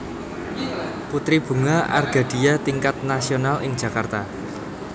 Putri Bunga Argadia Tingkat Nasional ing Jakarta